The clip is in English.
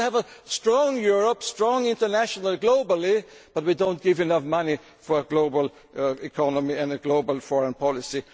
issues we have to do. We want a strong Europe, strong internationally globally but we do not provide enough money for a global economy and